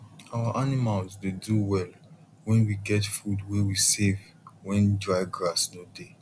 our animals dey do well when we get food way we save when dry grass no dey